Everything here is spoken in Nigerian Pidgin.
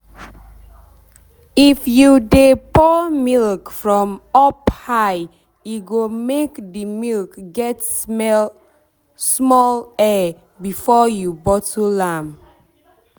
if you de pour milk from up high e go make the milk get smell small air before you bottle am